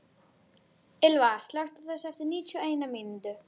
Ylva, slökktu á þessu eftir níutíu og eina mínútur.